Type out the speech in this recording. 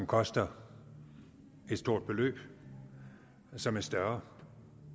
koster et stort beløb som er større